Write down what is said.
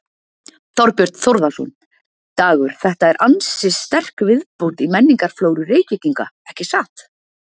Þorbjörn Þórðarson: Dagur þetta er ansi sterk viðbót í menningarflóru Reykvíkinga ekki satt?